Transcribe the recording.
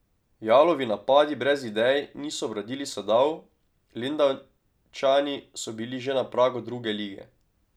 Jalovi napadi brez idej niso obrodili sadov, Lendavčani so bili že na pragu druge lige.